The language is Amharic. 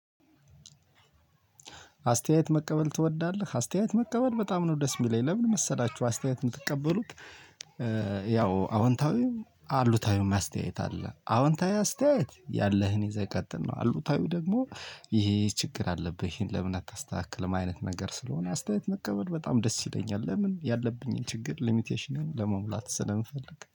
አስተያየት መቀበል ትወዳለህ? አስተያየት መቀበል በጣም ነው ደስ የሚለኝ። ለምን መሰላችሁ አስተያየት የምትቀበሉት ያው አውንታዊም አሉታዊም አስተያያት አለ። አውንታዊ አስተያያት ያለህን ይዜ ቀጥል ነው። አሉታዊ ደግሞ ይሄ ችግር አለብህ ይሄን ለምን አታስተካክልም አይነት ነገር ስለሆነ አስተያየት መቀበል በጣም ደስ ይለኛል። ለምን ያለብኝን ችግር ሊሚቴሽን ለመሙላት ስለምፈልግ